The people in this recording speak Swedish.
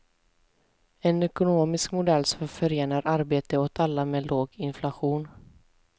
En ekonomisk modell som förenar arbete åt alla med låg inflation.